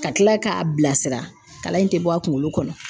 Ka kila k'a bilasira, kalan in ti bɔ a kunkolo kɔnɔ.